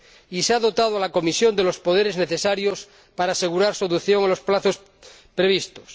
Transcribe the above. Y se ha dotado a la Comisión de los poderes necesarios para asegurar su adopción en los plazos previstos.